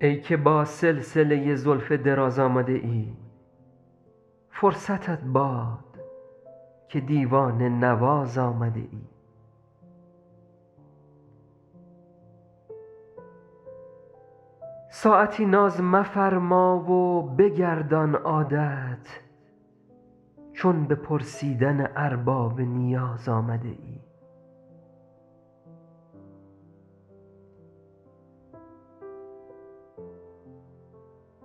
ای که با سلسله زلف دراز آمده ای فرصتت باد که دیوانه نواز آمده ای ساعتی ناز مفرما و بگردان عادت چون به پرسیدن ارباب نیاز آمده ای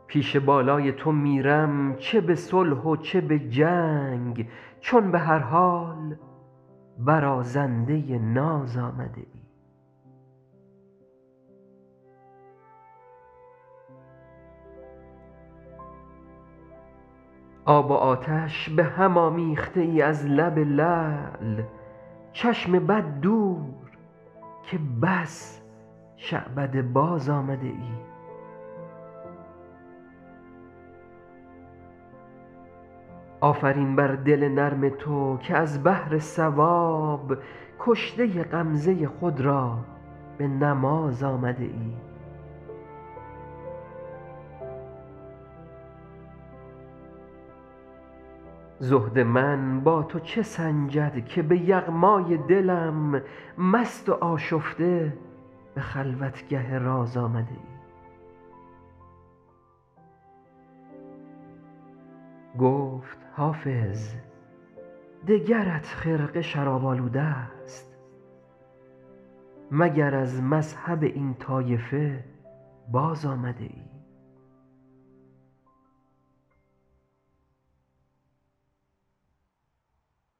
پیش بالای تو میرم چه به صلح و چه به جنگ چون به هر حال برازنده ناز آمده ای آب و آتش به هم آمیخته ای از لب لعل چشم بد دور که بس شعبده باز آمده ای آفرین بر دل نرم تو که از بهر ثواب کشته غمزه خود را به نماز آمده ای زهد من با تو چه سنجد که به یغمای دلم مست و آشفته به خلوتگه راز آمده ای گفت حافظ دگرت خرقه شراب آلوده ست مگر از مذهب این طایفه باز آمده ای